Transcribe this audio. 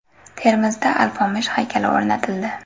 Termizda Alpomish haykali o‘rnatildi.